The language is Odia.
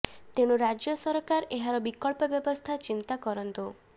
ତେଣୁ ରାଜ୍ୟ ସରକାର ଏହାର ବିକଳ୍ପ ବ୍ୟବସ୍ଥା ଚିନ୍ତା କରନ୍ତୁ